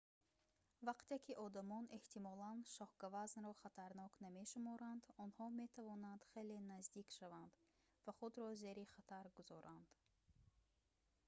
вақте ки одамон эҳтимолан шоҳгавазнро хатарнок намешуморанд онҳо метавонанд хеле наздик шаванд ва худро зери хатар гузоранд